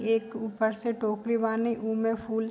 एक ऊपर से टोकरी वानी उ में फूल --